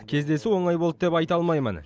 кездесу оңай болды деп айта алмаймын